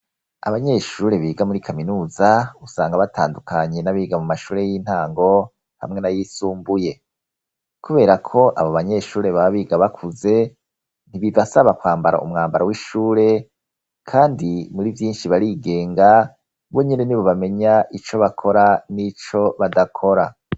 Abanyeshure biga muri kaminuza usanga batandukanye n'abiga mu mashure y'intango hamwe na yisumbuye, kubera ko abo banyeshure ba biga bakuze ntibivasaba kwambara umwambaro w'ishure, kandi muri vyinshi barigenga bo nyene ni bo bamenya ico bakora n'ico badako kora.